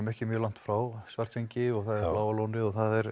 ekki mjög langt frá Svartsengi og Bláa lónið